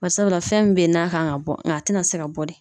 Barisabula fɛn mun be yen n'a kan ka bɔ a te na se ka bɔ de.